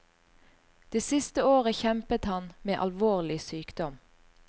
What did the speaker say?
Det siste året kjempet han med alvorlig sykdom.